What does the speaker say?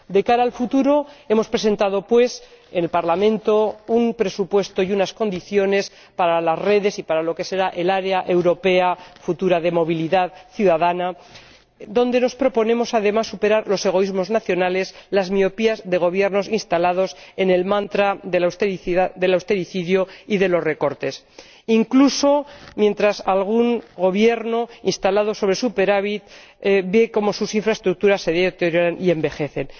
De cara al futuro, hemos presentado en el Parlamento un presupuesto y unas condiciones para las redes y para lo que será el área europea futura de movilidad ciudadana, donde nos proponemos, además, superar los egoísmos nacionales, las miopías de Gobiernos instalados en el mantra del austericidio y de los recortes. Esto sucede incluso mientras algún Gobierno instalado en el superávit ve cómo sus infraestructuras se deterioran y envejecen.